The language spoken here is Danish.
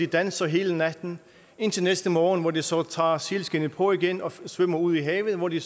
danser hele natten indtil næste morgen hvor de så tager sælskindet på igen og svømmer ud i havet hvor de